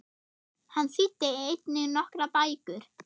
Hann þýddi einnig nokkrar bækur.